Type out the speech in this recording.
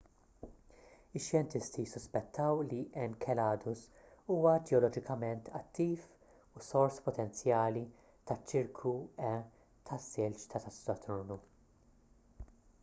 ix-xjentisti ssuspettaw li enceladus huwa ġeoloġikament attiv u sors potenzjali taċ-ċirku e tas-silġ ta' saturnu